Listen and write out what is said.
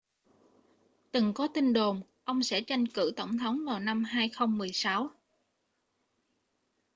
từng có tin đồn ông sẽ tranh cử tổng thống vào năm 2016